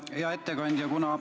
Hea ettekandja!